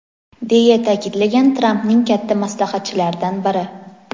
deya ta’kidlagan Trampning katta maslahatchilaridan biri..